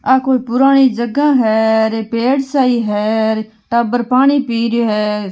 अ कोई पुराणी जगह है और ये पेड़ सही है टाबर पानी पिरियो है।